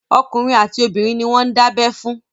Okùnrin àti obìnrin ni wọ́n ń dábẹ́ fún.